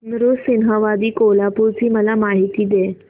नृसिंहवाडी कोल्हापूर ची मला माहिती दे